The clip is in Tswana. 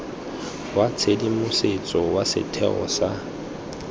wa tshedimosetso wa setheo sa